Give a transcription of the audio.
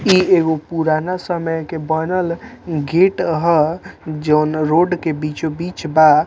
इ एगो पूराना समय के बनल गेट है जोन रोड के बीचो-बीच बा।